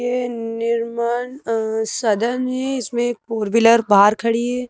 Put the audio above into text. ये निर्माण अ सदन है इसमें फोर व्हीलर बाहर खड़ी है।